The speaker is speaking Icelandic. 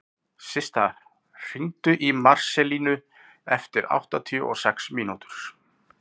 Systa, hringdu í Marselínu eftir áttatíu og sex mínútur.